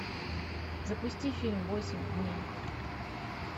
запусти фильм восемь дней